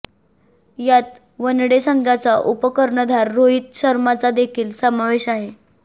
यात वनडे संघाचा उपकर्णधार रोहित शर्माचा देखील समावेश आहे